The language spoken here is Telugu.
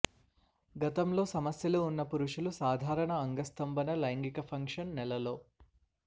గతంలో సమస్యలు ఉన్న పురుషులు సాధారణ అంగస్తంభన లైంగిక ఫంక్షన్ నెలలో